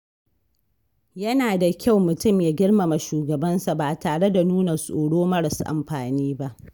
Yana da kyau mutum ya girmama shugabansa ba tare da nuna tsoro maras amfani ba.